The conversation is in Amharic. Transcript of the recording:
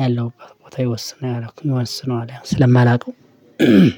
ያለሁበት ቦታ ይወስናል ይወስናል ስለማላውቀው